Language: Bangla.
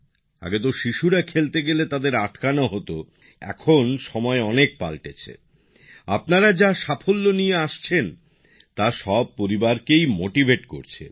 আগে তো বাচ্চারা খেলতে গেলে তাদের আটকানো হতো কিন্তু এখন সময় অনেক পাল্টেছে আপনারা যা সাফল্য নিয়ে আসছেন তা সব পরিবারকেই অনুপ্রাণিত করছে